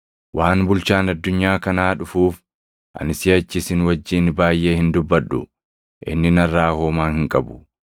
Waan bulchaan addunyaa kanaa dhufuuf, ani siʼachi isin wajjin baayʼee hin dubbadhu; inni narraa homaa hin qabu;